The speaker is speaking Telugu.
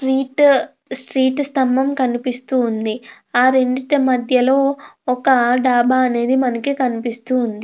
స్ట్రీట్ స్ట్రీట్ స్తంభం అనేది మనకు కనిపిస్తున్నది ఆ రెండిటి మధ్యలో ఒక డబ్బా అనేది మనకు కనిపిస్తుంది.